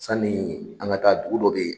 Sani an ga taa dugu dɔ be yen